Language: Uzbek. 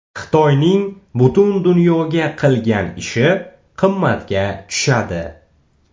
Xitoyning butun dunyoga qilgan ishi qimmatga tushadi.